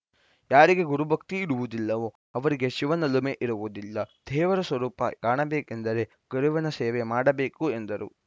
ಯಾರಿಗೆ ಗುರು ಭಕ್ತಿ ಇರುವುದಿಲ್ಲವೋ ಅವರಿಗೆ ಶಿವನೊಲುಮೆ ಇರುವುದಿಲ್ಲ ದೇವರ ಸ್ವರೂಪ ಕಾಣಬೇಕೆಂದರೆ ಗುರುವಿನ ಸೇವೆ ಮಾಡಬೇಕು ಎಂದರು